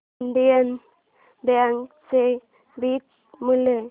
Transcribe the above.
Indian bank चे beta मूल्य